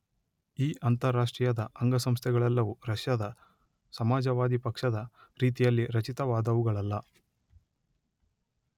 ಈ ಅಂತರಾಷ್ಟ್ರೀಯದ ಅಂಗಸಂಸ್ಥೆಗಳೆಲ್ಲವೂ ರಷ್ಯದ ಸಮಾಜವಾದಿ ಪಕ್ಷದ ರೀತಿಯಲ್ಲಿ ರಚಿತವಾದುವುಗಳಲ್ಲ